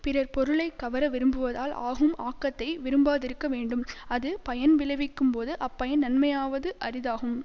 பிறர் பொருளை கவர விரும்புவதால் ஆகும் ஆக்கத்தை விரும்பாதிருக்க வேண்டும் அது பயன் விளைவிக்கும்போது அப்பயன் நன்மையாவது அரிதாகும்